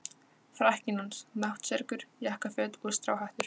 Frakkinn hans, náttserkur, jakkaföt og stráhattur.